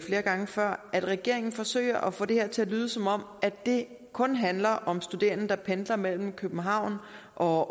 flere gange før at regeringen forsøger at få det her til at lyde som om det kun handler om studerende der pendler mellem københavn og